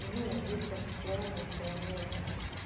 ну люди так устроены и всё равно это так